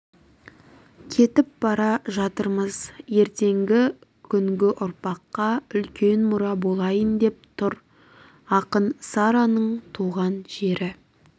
кетіп бара жатырмыз ертеңгі күнгі ұрпаққа үлкен мұра болайын деп тұр ақын сараның туған жері